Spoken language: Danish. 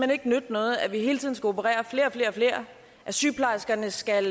nytte noget at de hele tiden skal operere flere og flere at sygeplejerskerne skal